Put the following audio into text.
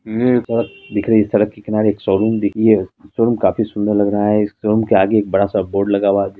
निरपथ दिख रही है सड़क के किनारे एक शोरूम दिखी है शोरूम काफी सुंदर लग रहा है। शोरूम के आगे एक बड़ा सा बोर्ड लगा हुआ है।